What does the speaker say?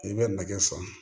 I bɛ nɛgɛ san